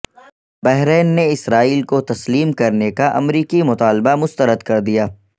بحرین نے اسرائیل کو تسلیم کرنے کا امریکی مطالبہ مسترد کردیا